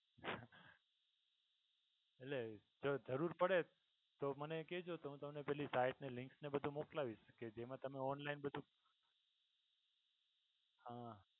એટલે જો જરૂર પડે તો મને કહજો કે તો હું તમને પેલી site ની link ને એ બધુ મોકલાવીશ કે જેમાં તમને online બધુ હા